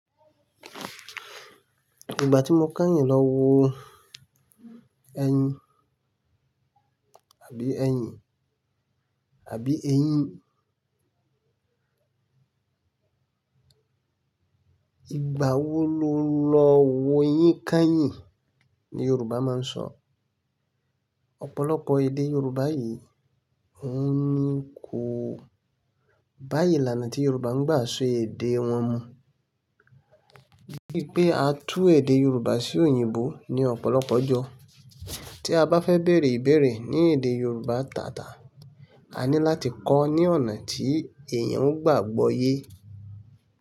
Ìgbà tí mo kányìn lọ wo ẹyin, àbí ẹyin, àbí eyín? "Ìgbà wo lo lọ wo eyín kányìn?" ni Yorùbá máa ń sọ. Ọ̀pọ̀lọpọ̀ èdè Yorùbá yìí òhún ní kò bá ìlànà tí Yorùbá ń gbà sọ èdè wọn mu. Bíi pe a tú èdè Yorùbá sí òyìnbó ní ọ̀pọ̀lọpọ̀ jọ́, tí a bá fẹ́ beèrè ìbéèrè ní èdè Yorùbá tàtà, a ní láti kọọ́ ní ọ̀nà tí èèyàn ó gbà gbọ́ yé.